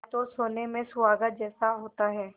जाए तो सोने में सुहागा जैसा होता है